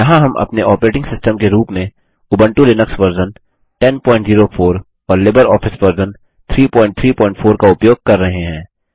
यहाँ हम अपने ऑपरेटिंग सिस्टम के रूप में उबंटु लिनक्स वर्जन 1004 और लिबर ऑफिस वर्जन 334 का उपयोग कर रहे हैं